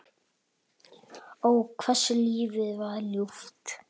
Ó, hversu lífið var ljúft.